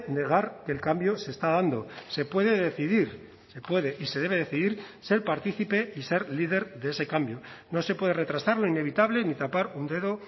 negar que el cambio se está dando se puede decidir se puede y se debe decidir ser partícipe y ser líder de ese cambio no se puede retrasar lo inevitable ni tapar un dedo